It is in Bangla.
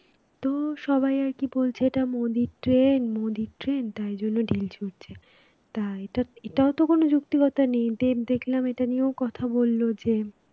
তো সবাই আর কি বলছে এটা মোদির train মোদির train তাই জন্য ঢিল ছুড়চে তা এটা এটা ও তো কোন যৌক্তিকতা নেই দেব দেখলাম এটা নিয়েও কথা বলল যে